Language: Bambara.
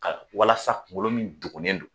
Ka walasa kungolo min degunnen don